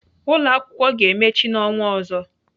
Ụlọakwụkwọ ga-emechi n'ọnwa ọzọ.